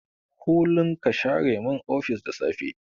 Kullun ka share min ofis da safe.